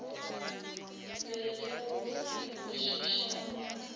be le go se kwešišane